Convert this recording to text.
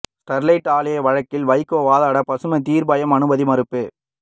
Sterlite ஆலை வழக்கில் வைகோ வாதாட பசுமை தீர்ப்பாயம் அனுமதி மறுப்பு